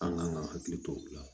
An kan ka hakili to o la